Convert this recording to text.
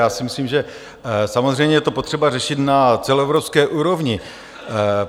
Já si myslím, že samozřejmě je to potřeba řešit na celoevropské úrovni.